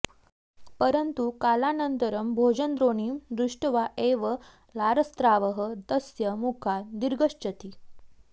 परन्तु कालानन्तरं भोजनद्रोणीं दृष्ट्वा एव लारस्रावः तस्य मुखात् निर्गच्छति